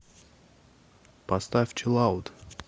поставь чилаут